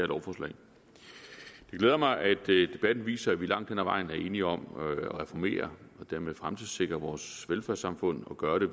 lovforslag det glæder mig at debatten viser at vi langt hen ad vejen er enige om at reformere og dermed fremtidssikre vores velfærdssamfund og gør det